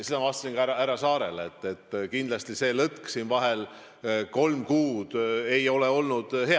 Ma ütlesin ka härra Saarele vastates, et kindlasti see lõtk siin vahel, kolm kuud, ei olnud hea.